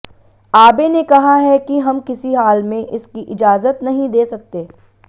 आबे ने कहा है कि हम किसी हाल में इसकी इजाज़त नहीं दे सकते